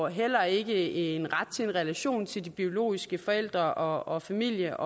heller ikke en ret til en relation til de biologiske forældre og familie